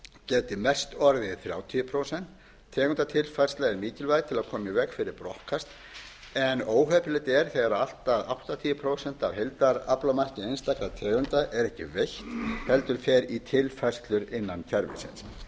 geti mest orðið þrjátíu prósent tegundatilfærsla er mikilvæg til að koma í veg fyrir brottkast en óheppilegt er þegar allt að áttatíu prósent af heildaraflamarki einstakra tegunda er ekki veitt heldur fer í tilfærslur innan kerfisins